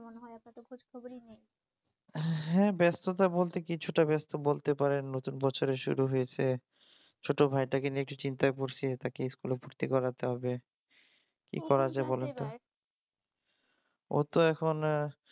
হ্যাঁ ব্যস্ততা বলতে কিছুটা ব্যস্ত বলতে পারেন নতুন বছরের শুরু হয়েছে ছোট ভাইটাকে নিয়ে একটু চিন্তায় পড়ছি তাকে স্কুলে ভর্তি করাতে হবে কি করা যায় বলুন তো ওর তো এখন